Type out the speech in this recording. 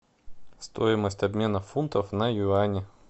стоимость обмена фунтов на юани